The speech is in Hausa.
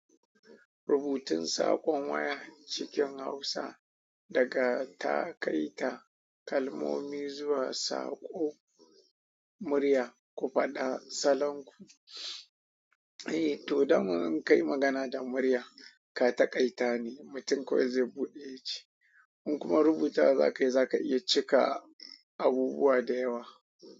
Rubutun saƙon waya cikin Hausa daga ta kai ta kalmomi zuwa saƙo murya. Ku faɗa salon ku. Eh, to, daman in kayi magana da murya, ka taƙaita ne, mutum kawai zai buɗe ya ji. In kuma rubutawa za ka yi, za ka iya cika abubuwa da yawa.